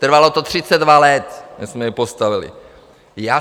Trvalo to 32 let, než jsme ji postavili.